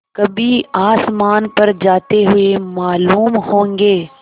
कभी आसमान पर जाते हुए मालूम होंगे